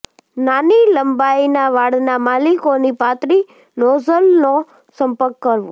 નાની લંબાઈના વાળના માલિકોની પાતળી નોઝલનો સંપર્ક કરવો